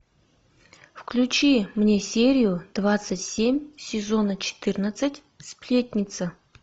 включи мне серию двадцать семь сезона четырнадцать сплетница